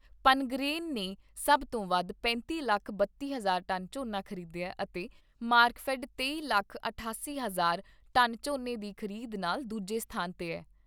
ਪਨਗਰੇਨ ਨੇ ਸਭ ਤੋਂ ਵੱਧ ਪੈਂਤੀ ਲੱਖ ਬੱਤੀ ਹਜ਼ਾਰ ਟਨ ਝੋਨਾ ਖ਼ਰੀਦਿਆ ਅਤੇ ਮਾਰਕਫੈੱਡ ਤੇਈ ਲੱਖ ਅਠਾਸੀ ਹਜ਼ਾਰ ਟਨ ਝੋਨੇ ਦੀ ਖ਼ਰੀਦ ਨਾਲ ਦੂਜੇ ਸਥਾਨ 'ਤੇ ਐ।